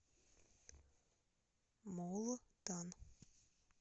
мултан